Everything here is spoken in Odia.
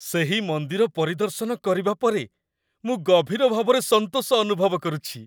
ସେହି ମନ୍ଦିର ପରିଦର୍ଶନ କରିବା ପରେ, ମୁଁ ଗଭୀର ଭାବରେ ସନ୍ତୋଷ ଅନୁଭବ କରୁଛି।